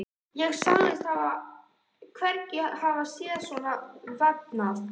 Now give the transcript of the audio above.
Ég sagðist hvergi hafa séð svona vefnað.